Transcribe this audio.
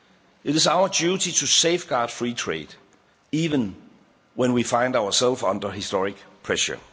people. It is our duty to safeguard free trade, even when we find ourselves under historic pressure.